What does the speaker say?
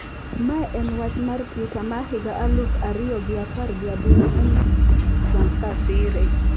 Ma en wach mar Twitter ma higa aluf ariyo gi apar gi aboro manyiso Donald Trump kasire.